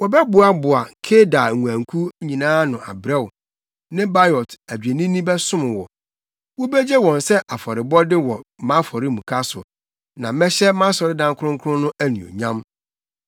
Wɔbɛboaboa Kedar nguankuw nyinaa ano abrɛ wo, Nebaiot adwennini bɛsom wo; wobegye wɔn sɛ afɔrebɔde wɔ mʼafɔremuka so, na mɛhyɛ mʼasɔredan kronkron no anuonyam.